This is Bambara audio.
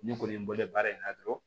Ne kɔni bolo baara in na dɔrɔn